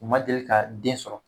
U ma deli ka den sɔrɔ